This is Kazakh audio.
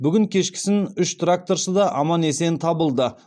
бүгін кешкісін үш тракторшы да аман есен табылды